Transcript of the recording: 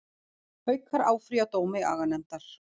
Haukar áfrýja dómi aganefndar